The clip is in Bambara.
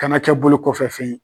Kana kɛ bolo kɔfɛ fɛn ye.